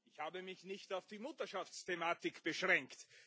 Ich habe mich nicht auf die Mutterschaftsthematik beschränkt.